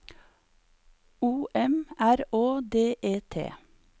O M R Å D E T